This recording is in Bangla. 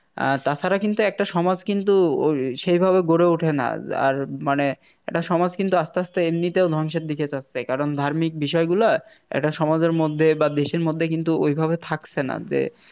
আর তাছাড়া কিন্তু একটা সমাজ কিন্তু সেভাবে গড়ে ওঠে না আর মানে একটা সমাজ কিন্তু আস্তে আস্তে এমনিতেও ধ্বংসের দিকে যাচ্ছে কারণ ধার্মিক বিষয়গুলো একটা সমাজের মধ্যে বা দেশের মধ্যে কিন্তু ঐভাবে থাকছে না যে